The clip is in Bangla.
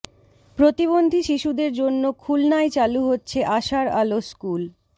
প্রতিবন্ধী শিশুদের জন্য খুলনায় চালু হচ্ছে আশার আলো স্কুল